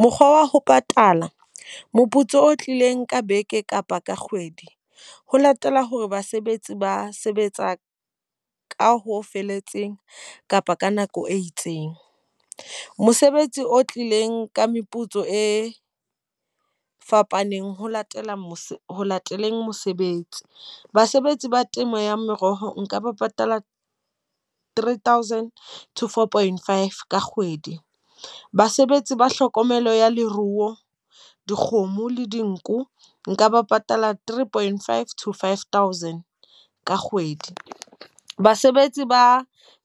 Mokgwa wa ho patala moputso o tlileng ka beke kapa ka kgwedi, ho latela hore basebetsi ba sebetsa ka ho felletseng kapa ka nako e itseng. Mosebetsi o tlileng ka meputso e fapaneng ho latela mose ho lateleng mosebetsi. Basebetsi ba temo ya meroho nka ba patala three thousand to four point five ka kgwedi. Basebetsi ba hlokomelo ya leruo, dikgomo le dinku nka ba patala three point five to five thousand ka kgwedi. Basebetsi ba